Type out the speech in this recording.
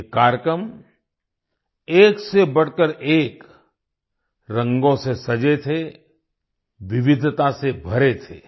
ये कार्यक्रम एक से बढ़कर एक रंगों से सजे थे विविधता से भरे थे